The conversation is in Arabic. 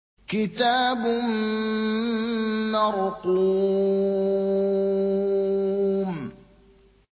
كِتَابٌ مَّرْقُومٌ